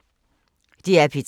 DR P3